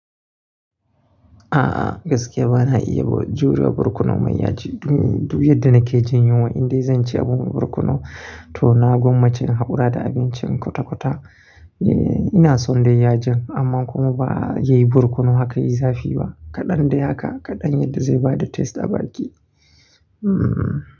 A'a gaskiya bana iya juriya birkono mai yaji. Duk yadda nake jin yunwa indai zanci abun birkono to na gwammace in haƙura da abincin kwata-kwata. Eee ina son dai yajin amma kuma ba yayi birkono haka yi zafi ba. Kaɗan daya haka kaɗan yadda zai bada taste a baki. Hmmm.